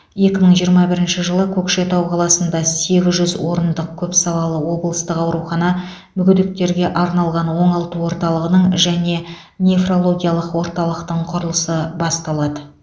екі мың жиырма бірінші жылы көкшетау қаласында сегіз жүз орындық көпсалалы облыстық аурухана мүгедектерге арналған оңалту орталығының және нефрологиялық орталықтың құрылысы басталады